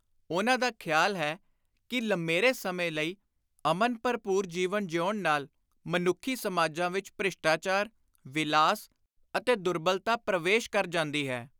ਉਨ੍ਹਾਂ ਦਾ ਖ਼ਿਆਲ ਹੈ ਕਿ ਲੰਮੇਰੇ ਸਮੇਂ ਲਈ ਅਮਨ ਭਰਪੁਰ ਜੀਵਨ ਜੀਉਣ ਨਾਲ ਮਨੱਖੀ ਸਮਾਜਾਂ ਵਿਚ ਭ੍ਰਿਸ਼ਟਾਚਾਰ, ਵਿਲਾਸ ਅਤੇ ਦੁਰਬਲਤਾ ਪ੍ਰਵੇਸ਼ ਕਰ ਜਾਂਦੀ ਹੈ।